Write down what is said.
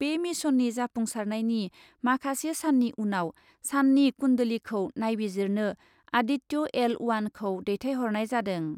बे मिशननि जाफुंसारनायनि माखासे साननि उनाव साननि कुन्डलीखौ नायबिजिरनो आदित्य एल अवानखौ दैथायहरनाय जादों ।